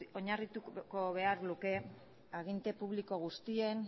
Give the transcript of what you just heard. oinarrituko behar luke aginte publiko guztien